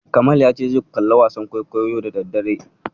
Kamal ya ce zai kalli wasan kwaikwayo yau da daddare.